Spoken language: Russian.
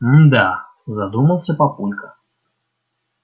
мда задумался папулька